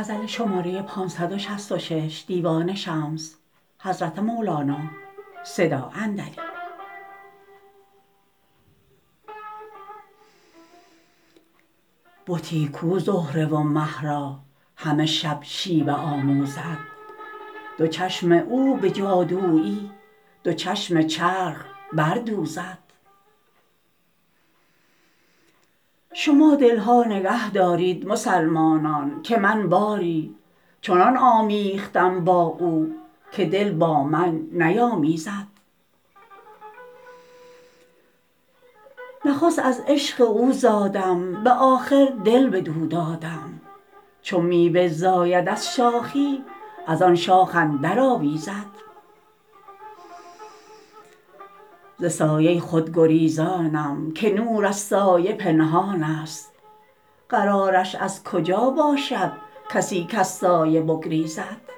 بتی کو زهره و مه را همه شب شیوه آموزد دو چشم او به جادویی دو چشم چرخ بردوزد شما دل ها نگه دارید مسلمانان که من باری چنان آمیختم با او که دل با من نیامیزد نخست از عشق او زادم به آخر دل بدو دادم چو میوه زاید از شاخی از آن شاخ اندرآویزد ز سایه خود گریزانم که نور از سایه پنهانست قرارش از کجا باشد کسی کز سایه بگریزد